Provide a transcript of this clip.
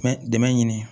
Mɛ dɛmɛni